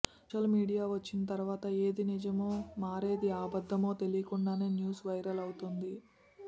social media వచ్చిన తరువాత ఏది నిజమో మరేది అబద్దమో తెలియకుండానే న్యూస్ వైరల్ అవుతోంది